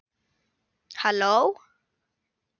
Halló